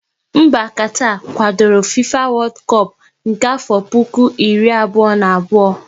Mba Katar kwadoro FIFA wodu kop na-afo puku abụọ, iri abụọ na abụọ